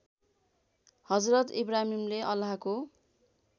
हजरत इब्राहिमले अल्लाहको